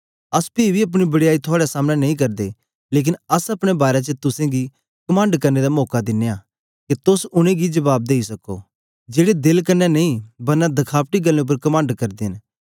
अस पी बी अपनी बड़याई थुआड़े सामनें नेई करदे लेकन अस अपने बारै च तुसेंगी कमंड करने दा मौका दिनयां के तोस उनेंगी जबाब देई सको जेड़े देल क्न्ने नेई बरना दखाबटी गल्लें उपर कमंड करदे न